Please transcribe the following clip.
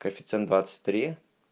коэффициент двадцать три